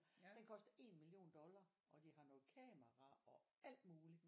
Den koster 1 million dollars og de har noget kamera og alt muligt